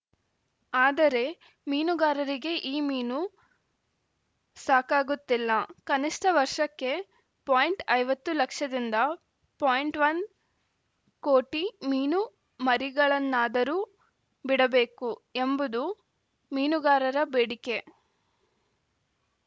ಆದರೆ ಮೀನುಗಾರರಿಗೆ ಈ ಮೀನು ಸಾಕಾಗುತ್ತಿಲ್ಲಕನಿಷ್ಟವರ್ಷಕ್ಕೆ ಪಾಯಿಂಟ್ ಐವತ್ತು ಲಕ್ಷದಿಂದ ಪಾಯಿಂಟ್ ವನ್ ಕೋಟಿ ಮೀನುಮರಿಗಳನ್ನಾದರೂ ಬಿಡಬೇಕು ಎಂಬುದು ಮೀನುಗಾರರ ಬೇಡಿಕೆ